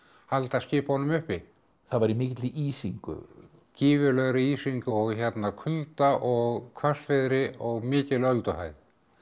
halda skipunum uppi það var í mikilli ísingu gífurlegri ísingu og hérna kulda og hvassviðri og mikil ölduhæð